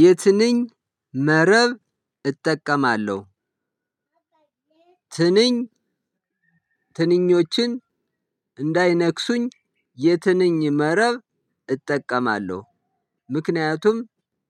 የትንኝ መረብ እጠቀማለሁ። ትንኝ ትንኞችን እንዳይነክሱኝ። የትንኝ መረብ እጠቀማለሁ። ምክንያቱም